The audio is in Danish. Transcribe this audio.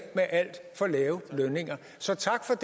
med alt for lave lønninger så